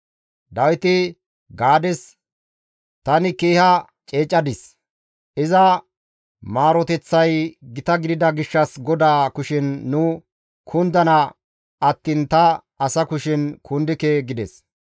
Dawiti Gaades, «Tani keeha ceecadis; iza maaroteththay gita gidida gishshas GODAA kushen nu kundana attiin ta asa kushen kundike» gides.